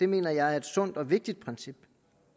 mener jeg er et sundt og vigtigt princip